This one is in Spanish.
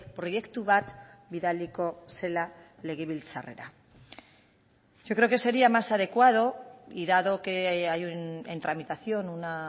proiektu bat bidaliko zela legebiltzarrera yo creo que sería más adecuado y dado que hay en tramitación una